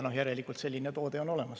No järelikult on selline toode olemas.